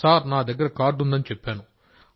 sir నా దగ్గర card ఉంది అని చెప్పాను